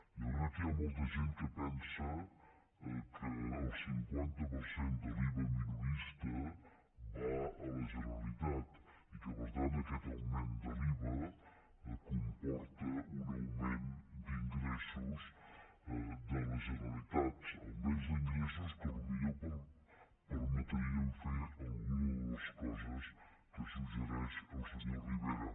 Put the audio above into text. jo crec que hi ha molta gent que pensa que el cinquanta per cent de l’iva minorista va a la generalitat i que per tant aquest augment de l’iva comporta un augment d’ingressos de la generalitat un augment d’ingressos que potser permetrien fer alguna de les coses que suggereix el senyor rivera